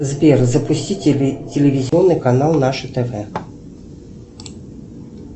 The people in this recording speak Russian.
сбер запустить телевизионный канал наше тв